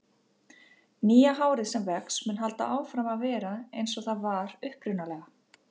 Nýja hárið sem vex mun halda áfram að vera eins og það var upprunalega.